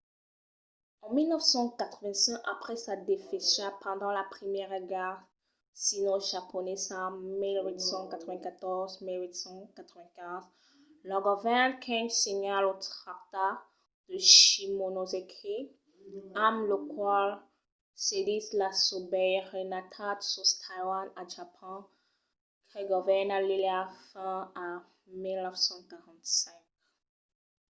en 1895 après sa desfacha pendent la primièra guèrra sinojaponesa 1894-1895 lo govèrn qing signa lo tractat de shimonoseki amb lo qual cedís la sobeiranetat sus taiwan a japon que govèrna l'illa fins a 1945